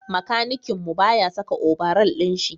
makanikin mu ba ya saka obaral din Shi